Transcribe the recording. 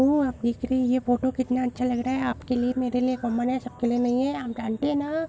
ओह आप देख रहे है ये फोटो कितना अच्छा लग रहा है आपके लिए मेरे लिए कॉमन है सब के लिए नहीं हैं आप जानटे है ना-- ।